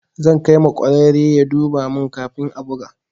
Zan kai ma ƙwararre ya duba mun kafin a buga.